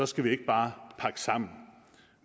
skal vi ikke bare pakke sammen